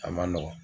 A man nɔgɔn